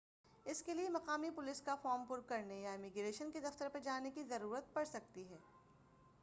اس کے لیے مقامی پولیس کا فارم پُر کرنے یا امیگریشن کے دفتر پر جانے کی ضرورت پڑ سکتی ہے